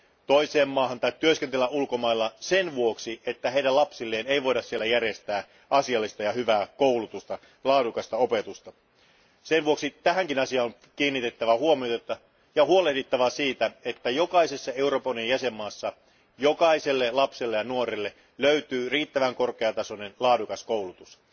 toiseen valtioon tai työskennellä ulkomailla sen vuoksi, että heidän lapsilleen ei voida siellä järjestää asiallista ja hyvää koulutusta ja laadukasta opetusta Sen vuoksi tähänkin asiaan on kiinnitettävä huomiota ja huolehdittava siitä, että jokaisessa Euroopan unionin jäsenvaltiossa jokaiselle lapselle ja nuorelle löytyy riittävän korkeatasoinen, laadukas koulutus.